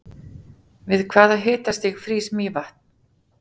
við hvaða hitastig frýs mývatn